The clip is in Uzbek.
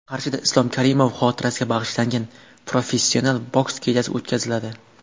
Qarshida Islom Karimov xotirasiga bag‘ishlangan professional boks kechasi o‘tkaziladi.